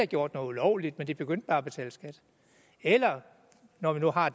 gjort noget ulovligt men de begyndte bare at betale skat eller når vi nu har